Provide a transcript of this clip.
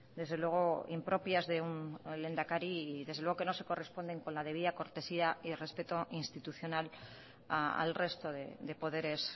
desde luego impropias de un lehendakari y desde luego que no se corresponden con la debida cortesía y respeto institucional al resto de poderes